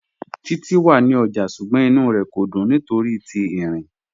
Títi wà ní ọ́jà, ṣùgbọ́n ìnú rẹ kò dún nítorí ti írin